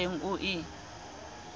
eo o se o e